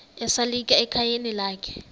esalika ekhayeni lakhe